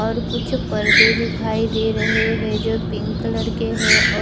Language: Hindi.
और कुछ परदे दिखाई दे रहे है जो पिंक कलर के है।